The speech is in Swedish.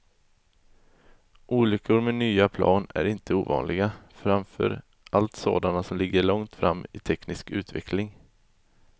Olyckor med nya plan är inte ovanliga, framför allt sådana som ligger långt fram i teknisk utveckling.